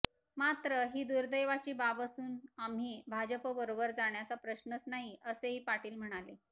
मात्र ही दुर्देवाची बाब असून आम्ही भाजपबरोबर जाण्याचा प्रश्नच नाही असेही पाटील म्हणाले